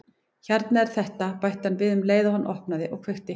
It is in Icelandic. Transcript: Hérna er þetta- bætti hann við um leið og hann opnaði og kveikti.